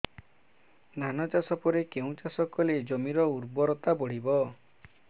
ଧାନ ଚାଷ ପରେ କେଉଁ ଚାଷ କଲେ ଜମିର ଉର୍ବରତା ବଢିବ